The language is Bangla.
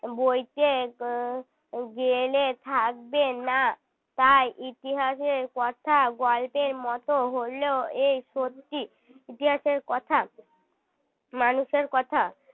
বইতে গেলে থাকবে না তাই ইতিহাসের কথা গল্পের মতো হলেও এই সত্যি ইতিহাসের কথা মানুষের কথা